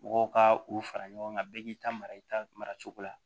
Mɔgɔw ka u fara ɲɔgɔn kan bɛɛ k'i ta mara i ta mara cogo la